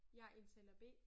Jeg er indtaler B